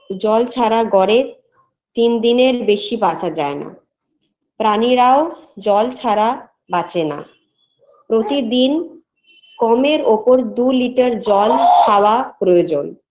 জল ছাড়া গরে তিন দিনের বেশি বাঁচা যায়ে না প্রাণীরাও জল ছাড়া বাঁচে না প্রতিদিন কমের ওপর দু litter জল খাওয়া প্রয়োজন